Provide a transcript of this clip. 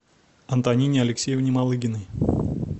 антонине алексеевне малыгиной